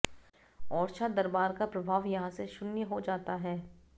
ओरछा दरबार का प्रभाव यहाँ से शून्य हो जाता है